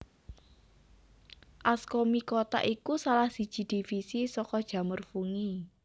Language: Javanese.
Ascomycota iku salah siji divisi saka jamur fungi